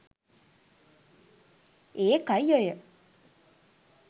ඒකයි ඔය